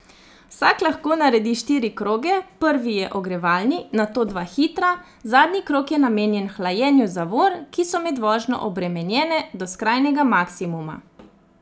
Vsak lahko naredi štiri kroge, prvi je ogrevalni, nato dva hitra, zadnji krog je namenjen hlajenju zavor, ki so med vožnjo obremenjene do skrajnega maksimuma.